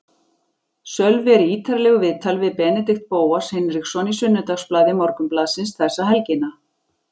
Sölvi er í ítarlegu viðtali við Benedikt Bóas Hinriksson í Sunnudagsblaði Morgunblaðsins þessa helgina.